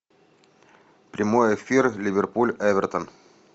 прямой эфир ливерпуль эвертон